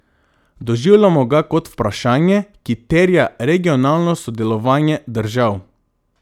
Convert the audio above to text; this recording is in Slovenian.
Doživljamo ga kot vprašanje, ki terja regionalno sodelovanje držav.